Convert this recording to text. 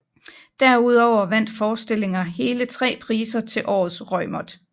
Derudover vandt forestillinger hele 3 priser til Årets Reumert